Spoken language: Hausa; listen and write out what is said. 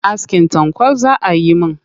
Askin tanƙwal za ayi min.